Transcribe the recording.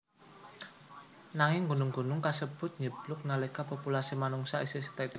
Nanging gunung gunung kasebut njeblug nalika populasi manungsa isih sethithik banget